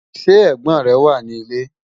Sẹ́ ẹ̀gbón rẹ̀ wà ni ilẹ̀?